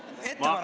Näpp käis kiiresti.